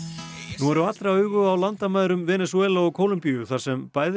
nú eru allra augu á landamærum Venesúela og Kólumbíu þar sem bæði